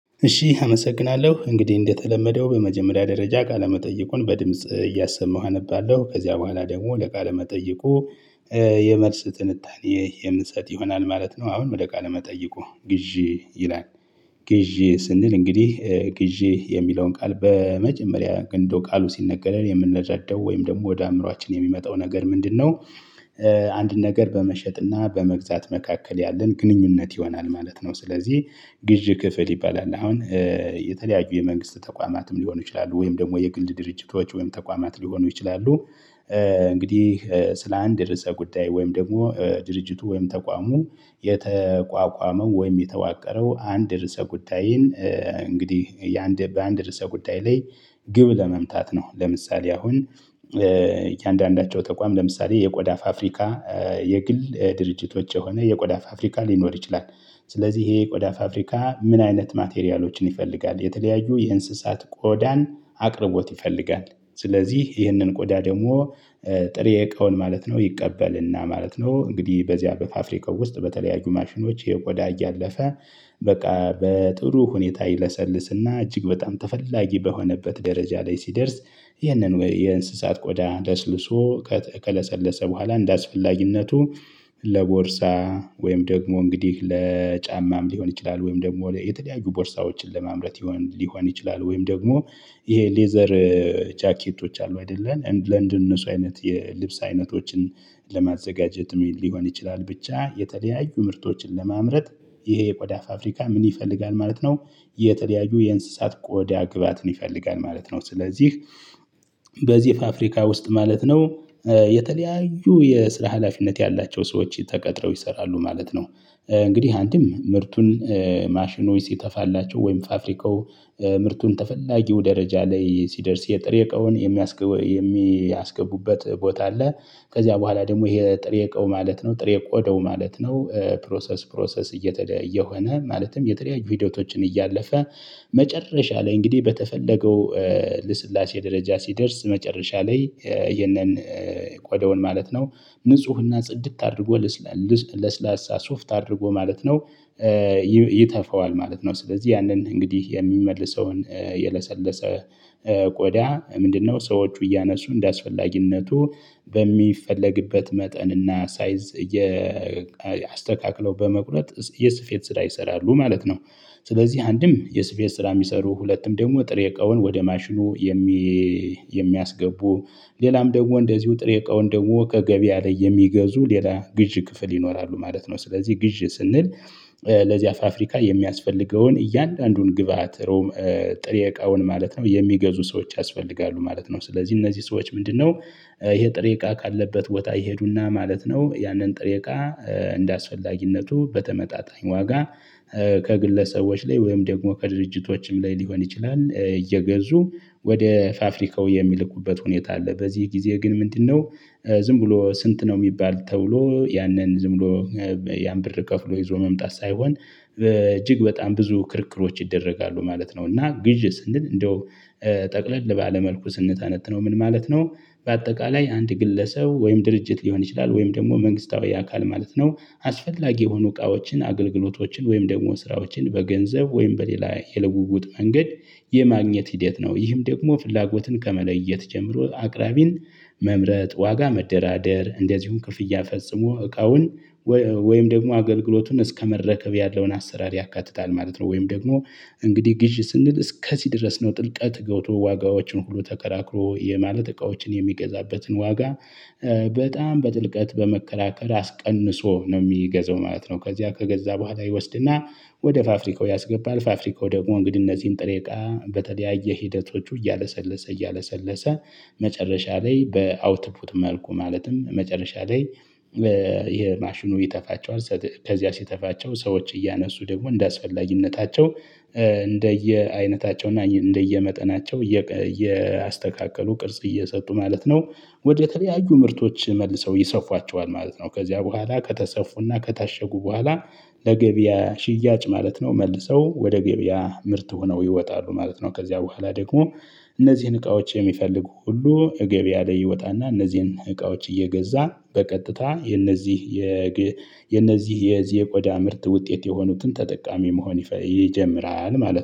እሺ አመሰግናለሁ እንግዲህ እንደተለመደው በመጀመሪያ ደረጃ ቃለመጠየቁን በድምጽ እያሰማሁ አነባለሁ ከዚያ በኋላ ደግሞ ለቃለ መጠይቁ የመልስ ጥንታኔ የምሰጥ ይሆናል ማለት ነው። አሁን ወደ ቃለ መጠይቁ ግዢ ይላል። ግዢ ስንል እንግዲህ ግዢ የሚለውን ቃል በመጀመሪያ ግን እንደው ቃሉ ሲነገረን የምንረዳው ወይም ደግሞ ወደ አእምሮአችን የሚመጣው ነገር ምንድነው? አንድን ነገር በመሸጥና በመግዛት መካከል ያለን ግንኙነት ይሆናል ማለት ነው። ስለዚህ ግዥ ክፍል ይባላል። አሁን የተለያዩ የመንግስት ተቋማትም ሊሆኑ ይችላሉ ወይም ደግሞ የግል ድርጅቶች ወይም ተቋማት ሊሆኑ ይችላሉ። እንግዲህ ስለ አንድ ርዕሰ ጉዳይ ወይም ደግሞ ድርጅቱ ወይም ተቋሙ የተቋቋመው ወይም የተዋቀረው አንድ ርዕሰ ጉዳይን እንግዲህ የአንድ በአንድ የርሰ ጉዳይ ላይ ግብ ለመምታት ነው። ለምሳሌ አሁን እያንዳንዳቸው ተቋም ለምሳሌ የቆዳ ፋፍሪካ የግል ድርጅቶች የሆነ የቆዳ ፋፍሪካ ሊኖር ይችላል። ስለዚህ ይሄ ቆዳ ፋፍሪካ ምን አይነት ማቴሪያሎችን ይፈልጋል የተለያዩ የእንስሳት ቆዳን አቅርቦት ይፈልጋል። ስለዚህ ይህንን ቆዳ ደግሞ ጥሬ እቃውን ማለት ነው ይቀበልና ማለት ነው። እንግዲህ በዚያ በፋፍሪካው ውስጥ በተለያዩ ማሽኖች የቆዳ እያለፈ በቃ በጥሩ ሁኔታ ይለሰልስና እጅግ በጣም ተፈላጊ በሆነበት ደረጃ ላይ ሲደርስ። ይህንን ወይ የእንስሳት ቆዳ ደስልሶ ከተቀለሰለሰ በኋላ እንዳስፈላጊነቱ ለቦርሳ ወይም ደግሞ እንግዲህ ለጫማም ሊሆን ይችላል። ወይም ደግሞ የተለያዩ ቦርሳዎችን ለማምረት ሊሆን ሊሆን ይችላል። ወይም ደግሞ ይሄ ሌዘር ጃኬቶች አሉ አይደለን ለንደነ እነሱ አይነት የልብስ አይነቶችን ለማዘጋጀት ሊሆን ይችላል። ብቻ የተለያዩ ምርቶችን ለማምረት ይሄ የቆዳ ፋፍሪካ ምን ይፈልጋል ማለት ነው? የተደያዩ የእንስሳት ቆዳ ግባትን ይፈልጋል ማለት ነው። ስለዚህ በዚህ ፋፍሪካ ውስጥ ማለት ነው። የተለያዩ የስራ ሀላፊነት ያላቸው ሰዎች ተቀጥረው ይሰራሉ ማለት ነው። እንግዲህ አንተም ምርቱን ማሽኑ ሲተፋላቸው ወይም ፋፍሪካው ምርቱን ተፈላጊው ደረጃ ላይ ሲደርስ የጥሬ እቃውን የሚያስገቡ የሚያስገቡበት ቦታ አለ። ከዚያ በኋላ ደግሞ ይሄ ጥሬ ቆው ማለት ነው ጥሬ ቆደው ማለት ነው ፕሮሰስ ፕሮሰስ እየተደየ የሆነ ማለትም የተለያዩ ቪዲዮዎችን እያለፈ። መጨረሻ ላይ እንግዲህ በተፈለገው ልስላሴ ደረጃ ሲደርስ መጨረሻ ላይ የነን ቆደውን ማለት ነው። ንፁህና ጽድት አድርጎ ለስላሳ ሶፍት አድርጎ ማለት ነው። ይተፋዋል ማለት ነው። ስለዚህ ያንን እንግዲህ የሚመልሰውን የለሰለሰ ቆዳ ምንድነው? ሰዎች እያነሱ እንደሚያስፈልግነቱ መጠን እና ሳይዝ ያስተካክለው በመቁረጥ የስፌት ስራ ይሰራሉ ማለት ነው። ስለዚህ አንድም የስፔን ስራ የሚሰሩ ሁለቱም ደግሞ ጥሬ እቃውን ወደ ማሽኑ የሚ። የሚያስገቡ ሌላም ደግሞ እንደዚሁ ጥሬ እቃውን ደግሞ ከገቢ ላይ የሚገዙ ሌላ ግዢ ክፍል ይኖራሉ ማለት ነው። ስለዚህ ግዢ ስንል ለዚያ ፋፍሪካ የሚያስፈልገውን እያንዳንዱን ግብአት ሮም ጥሬ እቃውን ማለት ነው የሚገዙ ሰዎች ያስፈልጋሉ ማለት ነው ስለዚህ እነዚህ ሰዎች ምንድነው? ይሄ ጥሬ እቃ ካለበት ቦታ ይሄዱና ማለት ነው። ያንን ጥሬቃ እንደአስፈላጊነቱ በተመጣጣኝ ዋጋ ከግለሰቦች ላይ ወይም ደግሞ ከድርጅቶችም ላይ ሊሆን ይችላል። እየገዙ ወደ ፋፍሪካው የሚልኩበት ሁኔታ አለ። በዚህ ጊዜ ግን ምንድነው? ዝም ብሎ ስንት ነው የሚባል ተብሎ ያንን ዝም ብሎ ያን ብር ከፍሎ ይዞ መምጣት ሳይሆን እጅግ በጣም ብዙ ክርክሮች ይደረጋሉ ማለት ነው። እና ግዢ ስንል እንደው ጠቅለል ባለ መልኩ ስንተነትነው ምን ማለት ነው? በአጠቃላይ አንድ ግለሰብ ወይም ድርጅት ሊሆን ይችላል ወይም ደግሞ መንግስታዊ አካል ማለት ነው። አስፈላጊ የሆኑ እቃዎችን አገልግሎቶችን ወይም ደግሞ ስራዎችን በገንዘብ ወይም በሌላ የለውውጥ መንገድ የማግኘት ሂደት ነው። ይህም ደግሞ ፍላጎትን ከመለየት ጀምሮ አቅራቢን መምረጥ ዋጋ መደራደር እንደዚሁም ክፍያ ፈጽሞ እቃውን ወይም ደግሞ አገልግሎቱን እስከመረከብ ያለውን አሰራር ያካትታል ማለት ነው። ወይም ደግሞ እንግዲህ ግዢ ስንል እስከዚህ ድረስ ነው። ጥልቀት ገውቶ ዋጋዎችን ሁሉ ተከራክሮ የማለት እቃዎችን የሚገዛበትን ዋጋ በጣም በጥልቀት በመከላከል አስቀንሶ ነው የሚገዛው ማለት ነው። ከዚያ ከገዛ በኋላ ይወስድና ወደ ፋፍሪካው ያስገባል ፋፍሪካው ደግሞ እንግዲህ እነዚህን ጥሬ እቃ በተለያየ ሂደቶቹ እያለሰለሰ እያለሰለሰ መጨረሻ ላይ በአውትፑት መልኩ ማለትም መጨረሻ ላይ ይሄ ማሽኑ ይተፋቸዋል። ከዚያ ሲተፋቸው ሰዎች እያነሱ ደግሞ እንደ አስፈላጊነታቸው እንደየአይነታቸው እና እንደየመጠናቸው እያስተካከሉ ቅርጽ እየሰጡ ማለት ነው። ወደተለያዩ ምርቶች መልሰው ይሰፋቸዋል ማለት ነው። ከዚያ በኋላ ከተሰፉና ከታሸጉ በኋላ ለገበያ ሽያጭ ማለት ነው መልሰው ወደ ገበያ ምርት ሆነው ይወጣሉ ማለት ነው። ከዚያ በኋላ ደግሞ እነዚህን እቃዎች የሚፈልጉ ሁሉ እገቢያ ላይ ይወጣና እነዚህን እቃዎች እየገዛ በቀጥታ የነዚህ የነዚህ የዜቆዳ ምርት ውጤት የሆኑትን ተጠቃሚ መሆን ይጀምራል ማለት ነው